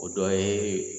O dɔ ye